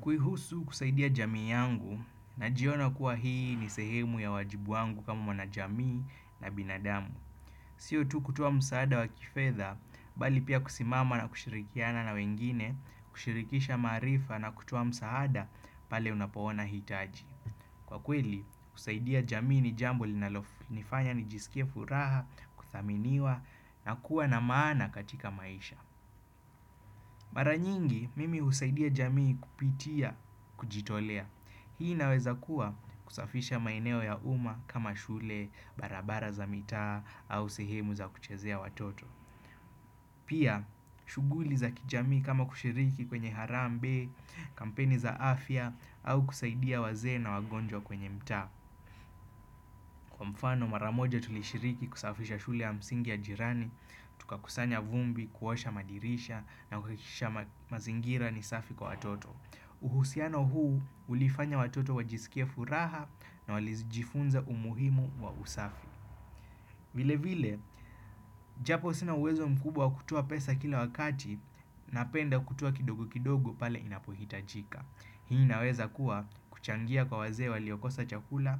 Kuihusu kusaidia jamii yangu najiona kuwa hii ni sehemu ya wajibu wangu kama mwana jamii na binadamu. Sio tu kutuwa msaada wa kifedha, bali pia kusimama na kushirikiana na wengine, kushirikisha marifa na kutuwa msaada pale unapoona hitaji. Kwa kweli, kusaidia jamii ni jambo linalofanya nijisikia furaha, kuthaminiwa na kuwa na maana katika maisha. Mara nyingi, mimi husaidia jamii kupitia, kujitolea. Hii inaweza kuwa kusafisha maeneo ya uma kama shule, barabara za mitaa, au sehemu za kuchezea watoto. Pia, shughuli za kijamii kama kushiriki kwenye harambe, kampeni za afya, au kusaidia wazee na wagonjwa kwenye mtaa. Kwa mfano maramoja tulishiriki kusafisha shule ya msingi ya jirani, tuka kusanya vumbi, kuwasha madirisha na kuhakikisha mazingira ni safi kwa watoto. Uhusiano huu ulifanya watoto wajisikia furaha na walijifunza umuhimu wa usafi. Vile vile, japo sina uwezo mkubwa kutua pesa kila wakati na penda kutua kidogo kidogo pale inapohitajika. Hii naweza kuwa kuchangia kwa wazee waliokosa chakula,